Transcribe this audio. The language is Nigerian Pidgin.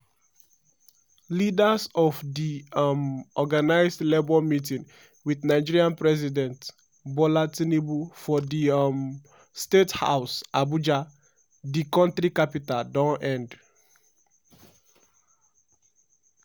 leaders of di um organised labour meeting wit nigeria president bola tinubu for di um state house abuja di kontri capital don end.